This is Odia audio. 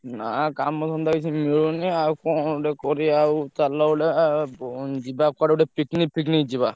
ନା କାମ ଧନ୍ଦା କିଛି ମିଳୁନି ଆଉ କଣ ଗୋଟେ କରିଆ ଆଉ ଚାଲ ଗୋଟେ ଯିବା କୁଆଡେ ଗୋଟେ picnic ଫିକନିକ ଯିବା।